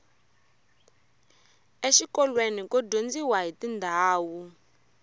exikolweni ku dyondziwa hiti ndhawu